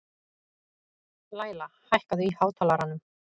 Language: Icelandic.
Læla, hækkaðu í hátalaranum.